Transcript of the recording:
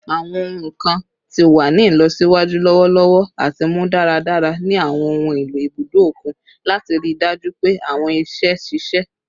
Awọn ohun kan ti wa ni ilọsiwaju lọwọlọwọ ati mu daradara ni awọn ohun elo ibudo okun lati rii daju pe awọn iṣẹ ṣiṣe